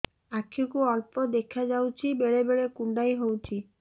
ଆଖି କୁ ଅଳ୍ପ ଦେଖା ଯାଉଛି ବେଳେ ବେଳେ କୁଣ୍ଡାଇ ହଉଛି